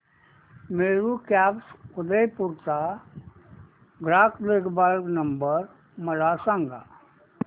Meru cabs Udaipur चा ग्राहक देखभाल नंबर मला सांगा